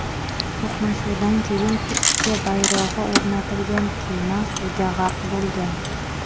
To‘qnashuvdan keyin Turkiya bayrog‘i o‘rnatilgan kema suvga g‘arq bo‘lgan.